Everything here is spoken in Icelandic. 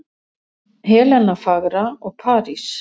Helena fagra og París.